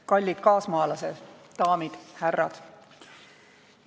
Kallid kaasmaalased, daamid ja härrad!